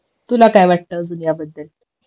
तुला काय वाटतं अजून याबद्दल